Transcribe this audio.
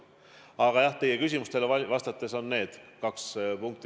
Aga jah, teie küsimustele vastates toon välja need kaks punkti.